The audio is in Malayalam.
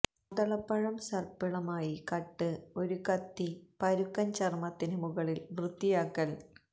മാതളപ്പഴം സർപ്പിളമായി കട്ട് ഒരു കത്തി പരുക്കൻ ചർമ്മത്തിന് മുകളിൽ വൃത്തിയാക്കൽ